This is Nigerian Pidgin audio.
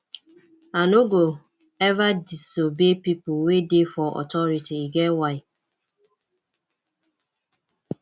i no go eva disobey pipo wey dey for authority e get why